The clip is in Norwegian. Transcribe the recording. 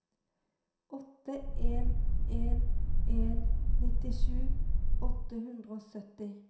åtte en en en nittisju åtte hundre og sytti